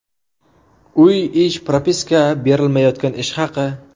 Uy, ish, propiska, berilmayotgan ish haqi.